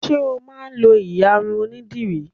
Ṣé o máa ń lọ ìyarun onídìrí?